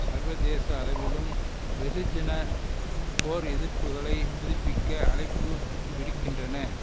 சர்வதேச அளவிலும் வெகுஜன போர் எதிர்ப்புக்களை புதுப்பிக்க அழைப்பு விடுக்கின்றன